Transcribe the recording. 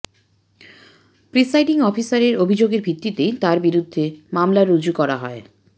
presiding অফিসারের অভিযোগের ভিত্তিতেই তাঁর বিরুদ্ধে মামলা রুজু করা হয়